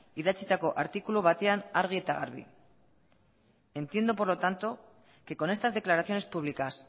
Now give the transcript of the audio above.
idatzitako artikulu batean argi eta garbi entiendo por lo tanto que con estas declaraciones públicas